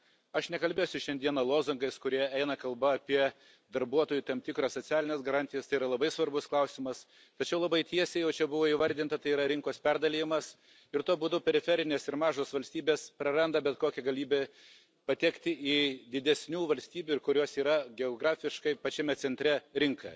Aš nekalbėsiu šiandieną lozungais, kur eina kalba apie darbuotojų tam tikras socialines garantijas, tai yra labai svarbus klausimas, tačiau labai tiesiai, o čia buvo įvardinta, tai yra rinkos perdalijimas, ir tuo būdu periferinės ir mažos valstybės praranda bet kokią galimybę patekti į didesnių valstybių, kurios yra geografiškai pačiame centre, rinką.